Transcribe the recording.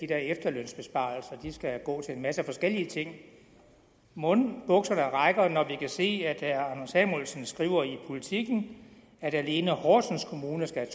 der efterlønsbesparelser skal gå til en masse forskellige ting mon bukserne holder når vi kan se at herre anders samuelsen skriver i politiken at alene horsens kommune skal